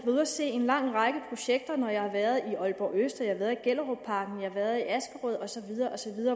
ude at se en lang række projekter når jeg har været i aalborg øst og jeg har været i gellerupparken jeg har været i askerød osv